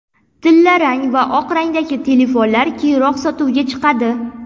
Tillarang va oq rangdagi telefonlar keyinroq sotuvga chiqadi.